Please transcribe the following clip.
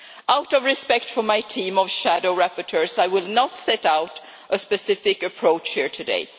Out of respect for my team of shadow rapporteurs, I will not set out a specific approach here today.